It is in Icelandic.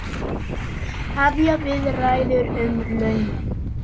Hefja viðræður um launin